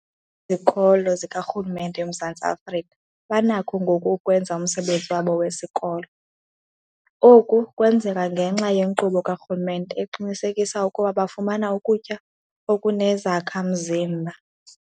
Izikolo zikarhulumente eMzantsi Afrika banakho ngoku ukwenza umsebenzi wabo wesikolo. Oku kwenzeka ngenxa yenkqubo karhulumente eqinisekisa ukuba bafumana ukutya okunezakha-mzimba.